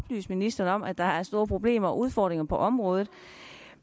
ministeren om at der er store problemer og udfordringer på området